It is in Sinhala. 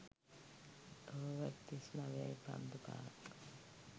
ඕවර් තිස් නවයයි පන්දු පහක්